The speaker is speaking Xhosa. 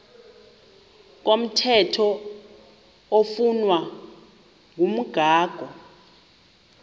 komthetho oflunwa ngumgago